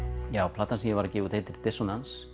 platan sem ég var að gefa út heitir